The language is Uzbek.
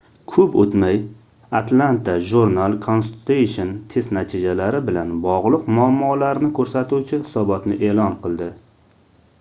koʻp oʻtmay atlanta journal-constitution test natijalari bilan bogʻliq muammolarni koʻrsatuvchi hisobotni eʼlon qildi